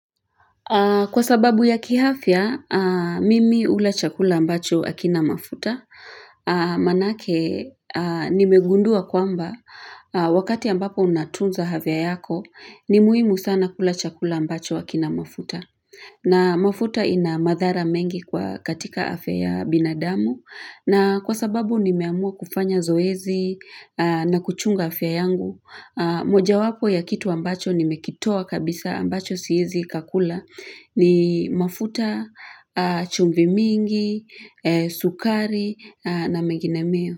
Kwa sababu ya kihafia, mimi hula chakula ambacho hakina mafuta. Manake nimegundua kwamba wakati ambapo unatunza havya yako, ni muhimu sana kula chakula ambacho hakina mafuta. Na mafuta ina madhara mengi kwa katika afya ya binadamu. Na kwa sababu nimeamua kufanya zoezi na kuchunga afya yangu. Moja wapo ya kitu ambacho nimekitoa kabisa ambacho siezi kakula ni mafuta. Chumvi mingi, sukari na mengine meo.